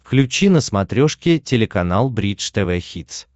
включи на смотрешке телеканал бридж тв хитс